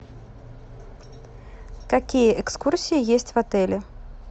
какие экскурсии есть в отеле